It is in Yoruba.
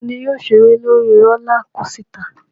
Ta ni yóò ṣeré lórí rólá kosità?